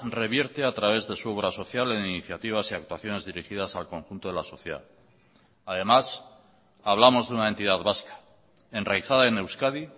revierte a través de su obra social en iniciativas y actuaciones dirigidas al conjunto de la sociedad además hablamos de una entidad vasca enraizada en euskadi